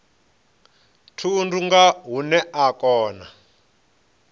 thundu nga hune a kona